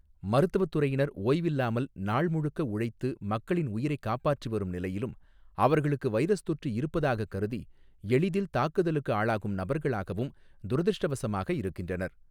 மருத்துவத் துறையினர் ஓய்வில்லாமல், நாள் முழுக்க உழைத்து மக்களின் உயிரைக் காப்பாற்றி வரும் நிலையிலும், அவர்களுக்கு வைரஸ் தொற்று இருப்பதாகக் கருதி எளிதில் தாக்குதலுக்கு ஆளாகும் நபர்களாகவும் துரதிருஷ்டவசமாக இருக்கின்றனர்.